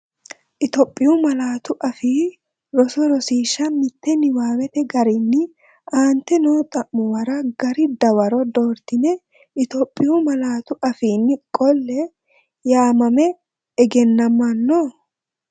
Itophiyu Malaatu Afii Roso Rosiishsha Mite Niwaawete garinni aante noo xa’muwara gari dawaro doortine Itophiyu malaatu afiinni qolle, yaamame egennamanno?